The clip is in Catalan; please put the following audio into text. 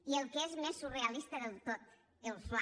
i el que és més surrealista del tot el fla